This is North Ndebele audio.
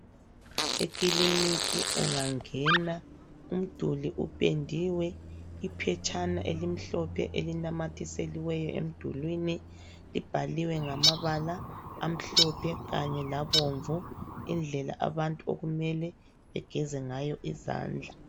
Ekiliniki ungangena umduli uphendiwe iphetshana elimhlophe elinamathiseliweyo emdulwini libhaliwe ngamabala amhlophe kanye labomvu indlela abantu okumele begeze ngayo izandla.